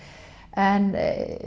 en